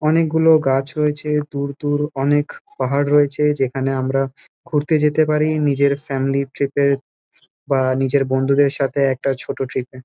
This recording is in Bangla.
অনেক গুলো গাছ রয়েছে দূর-দূর অনেক পাহাড় রয়েছে যেখানে আমরা ঘুরতে যেতে পারি নিজের ফ্যামিলি ট্রিপ -এ বা নিজের বন্ধুদের সাথে একটা ছোট ট্রিপ -এ।